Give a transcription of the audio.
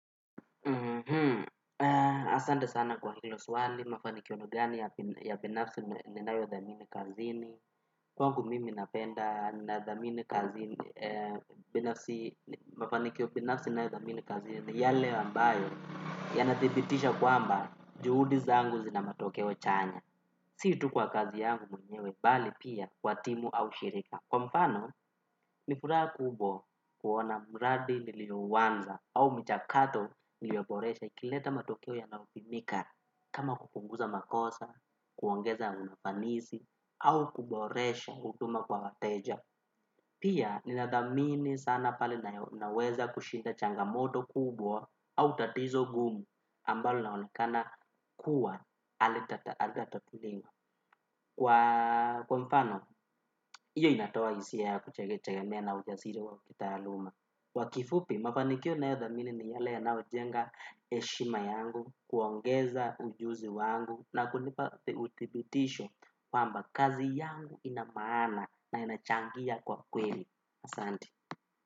Asante sana kwa hilo swali, mafanikio gani ya pinafsi ninayo dhamini kazini, kwangu mimi napenda na dhamini kazini, binafsi mafanikio pinafsi ninayo dhamini kazini, ni yale ambayo ya nathibitisha kwamba juhudi zangu zina matokeo chanya, si tu kwa kazi yangu mwenyewe, bali pia kwa timu au shirika. Kwa mfano, nifuraha kubwa kuona mradi nilio uwanza au mjakato nilio boresha ikileta matokeo yanayopimika. Kama kukunguza makosa, kuongeza unafanisi, au kuboresha uduma kwa wateja. Pia, ninadhamini sana pale naweza kushinda changamoto kubwa au tatizo gumu ambalo naonekana kuwa alitatatuliwa kwa kwa mfano, hiyo inatawa hisia ya kuchegema na ujasiri wa kitaaluma kwakifupi, mafanikio nayothamini ni yale yanao jenga heshima yangu. Kuongeza ujuzi wangu na kunipa uthibitisho kwamba kazi yangu inamaana na inachangia kwa kweli. Asante.